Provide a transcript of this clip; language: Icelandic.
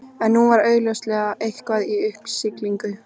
En nú var augljóslega eitthvað í uppsiglingu.